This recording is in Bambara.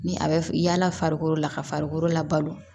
Ni a bɛ f yala farikolo la ka farikolo labalo